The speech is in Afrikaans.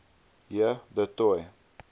j du toit